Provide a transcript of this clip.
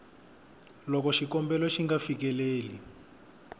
loko xikombelo xi nga fikeleli